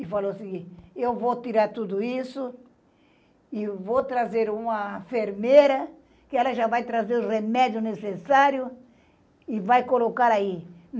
E falou assim, eu vou tirar tudo isso e vou trazer uma enfermeira que ela já vai trazer o remédio necessário e vai colocar aí.